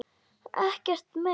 Ekkert meir.